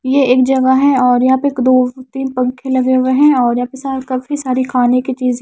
ये एक जगह है और यहां पे दो तीन पंखे लगे हुए हैं और यहां पे काफी सारी खाने की चीज़े --